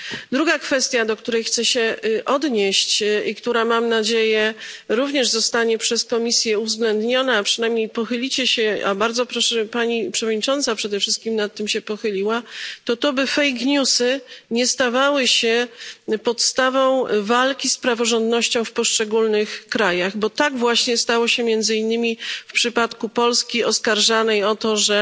Druga kwestia, do której chcę się odnieść i która, mam nadzieję, również zostanie przez Komisję uwzględniona, a przynajmniej pochylicie się, a bardzo proszę, żeby Pani Przewodnicząca przede wszystkim nad tym się pochyliła to, by fake newsy nie stawały się podstawą walki z praworządnością w poszczególnych krajach, bo tak właśnie stało się między innymi w przypadku Polski oskarżanej o to, że